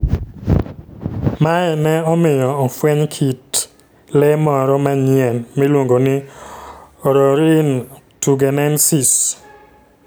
Mae ne omiyo ofweny kit kit le moro manyien miluongo ni Orrorin tugenensis.